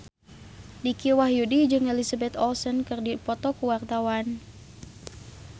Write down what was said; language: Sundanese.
Dicky Wahyudi jeung Elizabeth Olsen keur dipoto ku wartawan